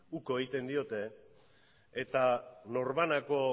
uko egiten diote eta norbanako